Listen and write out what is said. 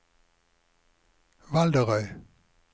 Valderøy